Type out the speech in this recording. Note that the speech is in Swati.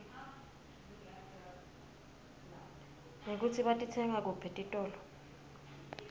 nekutsi batitsenga kuphi etitolo